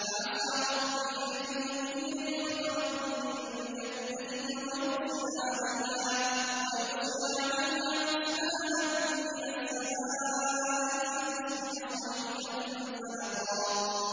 فَعَسَىٰ رَبِّي أَن يُؤْتِيَنِ خَيْرًا مِّن جَنَّتِكَ وَيُرْسِلَ عَلَيْهَا حُسْبَانًا مِّنَ السَّمَاءِ فَتُصْبِحَ صَعِيدًا زَلَقًا